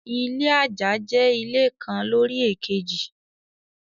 Ilé àjà jẹ́ ilé kan lórí èkejì.